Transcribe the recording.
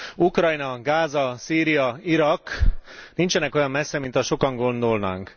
Ukrajna, Gáza, Szíria, Irak nincsenek olyan messze, mint azt sokan gondolnánk.